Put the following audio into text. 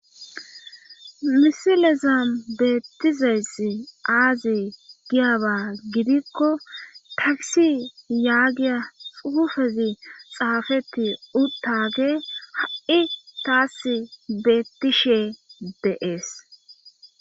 misilezan beettizayss aazi giyaba gidikko takisi yaagiya xufezi xaafetti uttage ha'i taas beettishe deees.